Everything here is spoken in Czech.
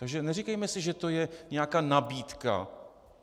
Takže neříkejme si, že to je nějaká nabídka.